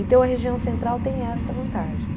Então, a região central tem esta vantagem.